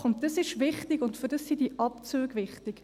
Das ist wichtig, und dafür sind diese Abzüge wichtig.